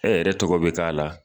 Ɛ yɛrɛ tɔgɔ be k'a la.